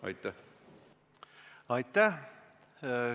Aitäh!